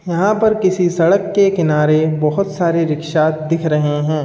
यहां पर किसी सड़क के किनारे बोहोत सारे रिक्शा दिख रहे हैं।